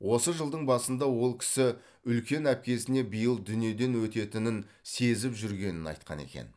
осы жылдың басында ол кісі үлкен әпкесіне биыл дүниеден өтетінін сезіп жүргенін айтқан екен